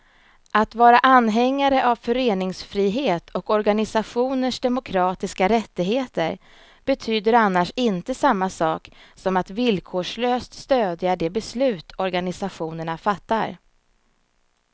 Att vara anhängare av föreningsfrihet och organisationers demokratiska rättigheter betyder annars inte samma sak som att villkorslöst stödja de beslut organisationerna fattar.